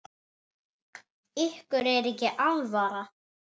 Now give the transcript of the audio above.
Ykkur er ekki alvara!